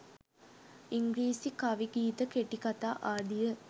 ඉංග්‍රීසි කවි ගීත කෙටිකතා ආදිය